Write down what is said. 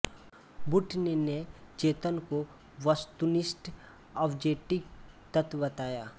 Wundt ने चेतन को वस्तुनिष्ठ ऑब्जेक्टिव तत्व बताया